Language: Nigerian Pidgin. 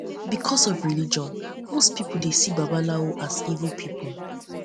because of religion most pipo dey see dey see babalawo as evil pipo